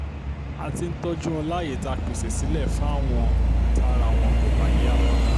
a ti ń tọ́jú wọn láàyè tá a pèsè sílẹ̀ fáwọn tára wọn kò bá yá